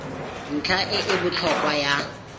ntlha e e botlhokwa ya